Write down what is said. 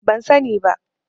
Ban sani ba.